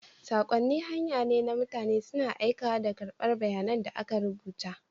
Saƙonni hanya ne na mutane suna aikawa da karɓar bayanan da aka rubuta.